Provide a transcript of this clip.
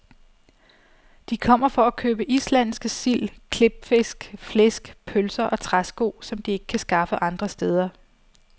De kommer for at købe islandske sild, klipfisk, flæsk, pølser og træsko, som de ikke kan skaffe andre steder.